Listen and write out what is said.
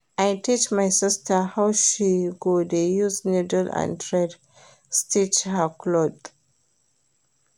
I teach my sista how she go dey use niddle and thread stitch her clothe.